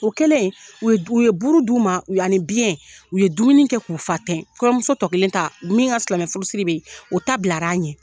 O kɛlen u ye u ye buru d'u ma ani biyɛn. U ye dumuni kɛ, k'u fa tɛ. Kɔɲɔmuso tɔ kelen ta, min ka silamɛ furusiri bɛ yen ,u ta bilara a ɲɛ.